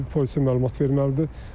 Polisə məlumat verməlidir.